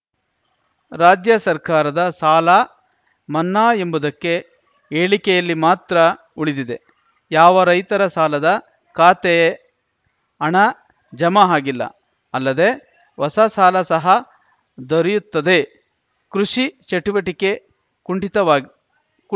ರಾಜ್ಯ ಸರ್ಕಾರದ ಸಾಲ ಮನ್ನಾ ಎಂಬುದಕ್ಕೆ ಹೇಳಿಕೆಯಲ್ಲಿ ಮಾತ್ರ ಉಳಿದಿದೆ ಯಾವ ರೈತರ ಸಾಲದ ಖಾತೆ ಅಣ ಜಮಾ ಹಾಗಿಲ್ಲ ಅಲ್ಲದೆ ಹೊಸ ಸಾಲ ಸಹ ದೊರೆಯುತ್ತದೆ ಕೃಷಿ ಚಟುವಟಿಕೆ ಕುಂಠಿತವಾಗಿದೆ ಕುಂ